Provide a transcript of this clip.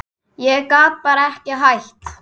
Ég gat bara ekki hætt.